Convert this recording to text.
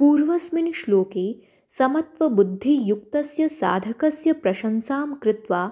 पूर्वस्मिन् श्लोके समत्वबुद्धियुक्तस्य साधकस्य प्रशंसां कृत्वा